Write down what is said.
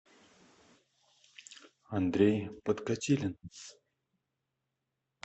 андрей подкатилин